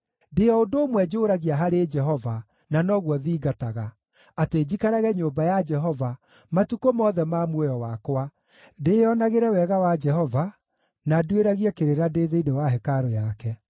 Ndĩ o ũndũ ũmwe njũũragia harĩ Jehova, na noguo thingataga: atĩ njikarage nyũmba ya Jehova matukũ mothe ma muoyo wakwa, ndĩĩonagĩre wega wa Jehova, na nduĩragie kĩrĩra ndĩ thĩinĩ wa hekarũ yake.